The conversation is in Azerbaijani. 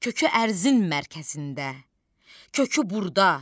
Kökü ərzin mərkəzində, kökü burda.